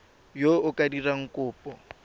yo o ka dirang kopo